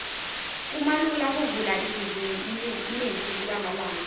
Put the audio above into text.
kumalula kuvula ibhizimisi kulamalanga